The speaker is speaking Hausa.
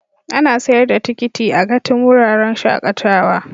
Ana sayar da tikiti a gati'n wuraren shakatawa.